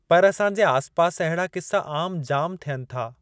पर असांजे आसिपासि अहिड़ा क़िसा आमु जामु थियनि था।